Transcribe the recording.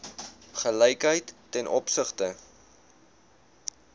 gelykheid ten opsigte